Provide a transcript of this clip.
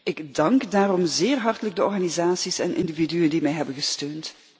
Ik dank daarom zeer hartelijk de organisaties en individuen die mij hebben gesteund.